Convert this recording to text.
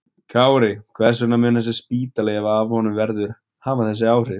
Kári, hvers vegna mun þessi spítali, ef af honum verður, hafa þessi áhrif?